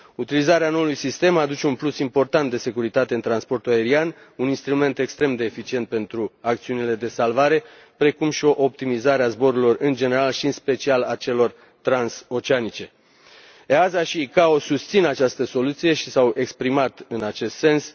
Utilizarea noului sistem aduce un plus important de securitate în transportul aerian, un instrument extrem de eficient pentru acțiunile de salvare, precum și o optimizare a zborurilor în general și, în special, a celor trans oceanice. AESA și OACI susțin această soluție și s au exprimat în acest sens.